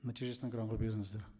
нәтижесін экранға беріңіздер